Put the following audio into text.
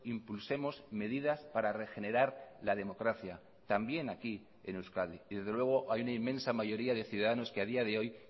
impulsemos medidas para regenerar la democracia también aquí en euskadi y desde luego hay una inmensa mayoría de ciudadanos que a día de hoy